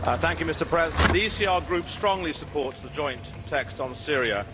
Mr President, the ECR Group strongly supports the joint text on Syria.